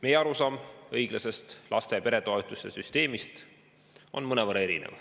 Meie arusaam õiglasest laste‑ ja peretoetuste süsteemist on mõnevõrra erinev.